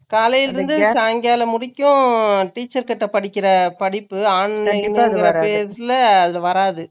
காலையில இருந்து, சாயங்காலம் முடிக்கும், teach படிக்கிற படிப்பு, அதுல வராது